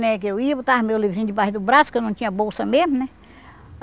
né? Que eu ia, botava meu livrinho debaixo do braço, que eu não tinha bolsa mesmo, né?